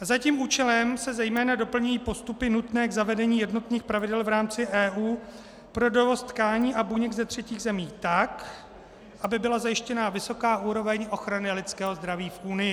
Za tím účelem se zejména doplňují postupy nutné k zavedení jednotných pravidel v rámci EU pro dovoz tkání a buněk ze třetích zemí, tak aby byla zajištěna vysoká úroveň ochrany lidského zdraví v Unii.